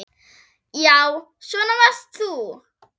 Já, svona varst þú.